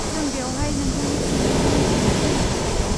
जों बेयावहाय नोंथांनि सोंनायनि फिन्नाय होनो थाखाय दं।